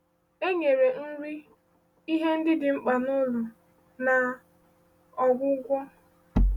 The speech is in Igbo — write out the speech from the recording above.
E nyere nri, ihe ndị dị mkpa n’ụlọ, na ọgwụgwọ.